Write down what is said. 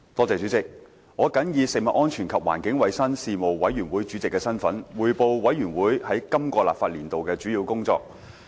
主席，我謹以食物安全及環境衞生事務委員會主席的身份，匯報事務委員會在今個立法年度的主要工作。